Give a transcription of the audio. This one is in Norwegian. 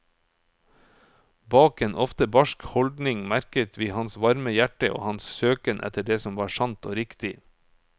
Bak en ofte barsk holdning merket vi hans varme hjerte og hans søken etter det som var sant og riktig.